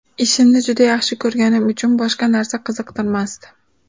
Ishimni juda yaxshi ko‘rganim uchun boshqa narsa qiziqtirmasdi.